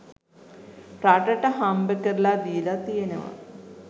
රටට හම්බකරලා දීලා තියෙනවා.